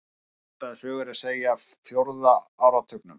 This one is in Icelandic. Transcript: Svipaða sögu er að segja af fjórða áratugnum.